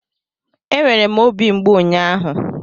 E nwere obi mgbu ụnyaahụ.